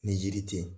Ni yiri tɛ yen